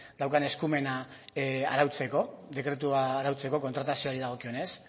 daukan eskumena arautzeko dekretua arautzeko kontratazioari dagokionez